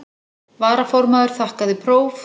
Varaformaður þakkaði próf.